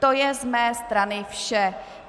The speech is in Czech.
To je z mé strany vše.